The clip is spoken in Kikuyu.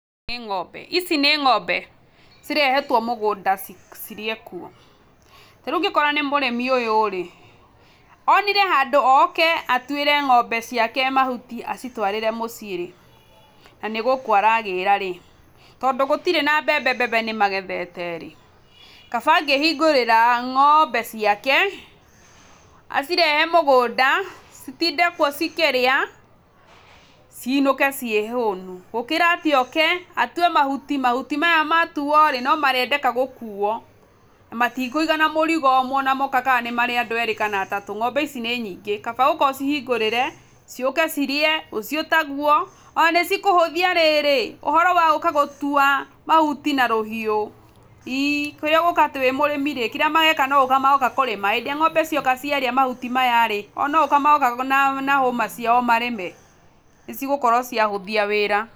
Nĩ ng'ombe, ici nĩ ng'ombe, cirehetwo mũgũnda ci cirĩe kuo, tarĩu ũngĩkorwo nĩ mũrĩmi ũyũ rĩ, onire handũ oke atwĩre ng'ombe ciake mahuti acitwarĩre mũciĩ rĩ, nanĩ gũkũ aragĩra rĩ, tondũ gũtirĩ na mbembe mbembe nĩmagethete rĩ, kaba angĩhingũrĩra ng'ombe ciake, acirehe mũgũnda, citinde kuo cikĩrĩa, cinũke ciĩ hũnu, gũkĩra atĩ oke, atue mahuti mahuti maya matuo rĩ, nomarĩendeka gũkuo, na matikũigana mũrigo ũmwe ona moka ka nĩ marĩ andũ erĩ kana atatũ, ng'ombe ici nĩ nyingĩ, kaba gũka ũcihingũrĩre, ciũke cirĩe, rũciũ taguo, na nĩcikũhũthia rĩrĩ, ũhoro wa gũka gũtua mahuti na rũhiũ, i kĩrĩa ũgwĩka wĩ mũrĩmi rĩ, kĩrĩa mageka no gũka magoka kũrĩma, hĩndĩ ĩrĩa ng'ombe cioka ciarĩa mahuti maya rĩ, o nogũka magoka na hũma ciao marĩme, nĩcigũkorwo ciahũthia wĩra.